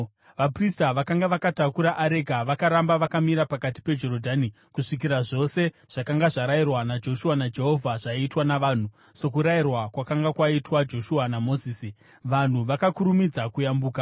Vaprista vakanga vakatakura areka vakaramba vakamira pakati peJorodhani kusvikira zvose zvakanga zvarayirwa Joshua naJehovha zvaitwa navanhu, sokurayirwa kwakanga kwaitwa Joshua naMozisi. Vanhu vakakurumidza kuyambuka